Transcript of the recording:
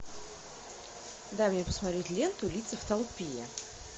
дай мне посмотреть ленту лица в толпе